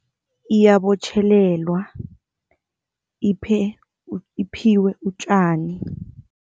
Iyabotjhelelwa, iphiwe utjani.